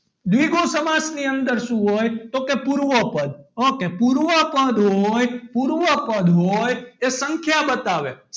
દ્વિગુ સમાસ ની અંદર શું હોય તો કે પૂર્વ પદ ok પૂર્વ પદ હોય પૂર્વ પદ હોય એ સંખ્યા બતાવે,